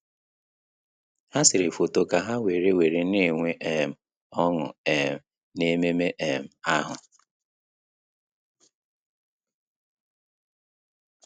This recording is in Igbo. Há sèrè fóto kà há wéré wéré nà-ènwé um ọ́ṅụ́ um n’ememe um ahụ.